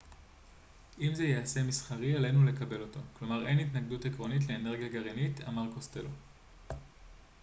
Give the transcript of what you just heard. אם זה ייעשה מסחרי עלינו לקבל אותו כלומר אין התנגדות עקרונית לאנרגיה גרעינית אמר קוסטלו